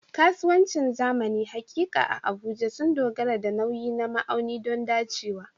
Kasuwancin zamani haƙiƙa a Abuja sun dogara da nauyi na ma'auni don dacewa.